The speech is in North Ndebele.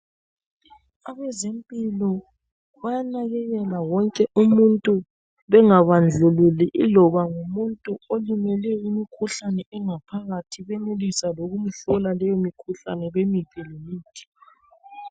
Abezempilo bayanakelela wonke umuntu bengabandluli iloba ngumuntu olimele imikhuhlane engaphakathi bayenelisa lomhlola le mikhuhlane bamnike lemithi.